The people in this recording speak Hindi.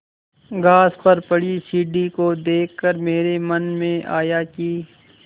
घास पर पड़ी सीढ़ी को देख कर मेरे मन में आया कि